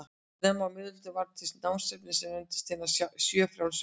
Snemma á miðöldum varð til námsefni sem nefndist hinar sjö frjálsu listir.